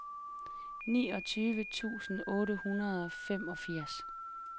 niogtyve tusind otte hundrede og femogfirs